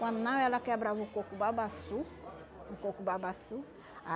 Quando não, ela quebrava o coco babaçu. O coco babaçu